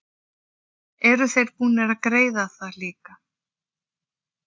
Eru þeir búnir að greiða það líka?